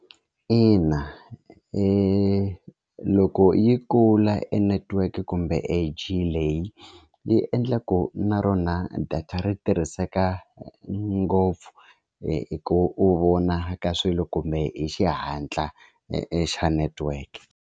Ina i loko yi kula e network kumbe e G leyi yi endla ku na rona data ri tirhiseka ngopfu hi hi ku vona ka swilo kumbe hi xihatla xa network.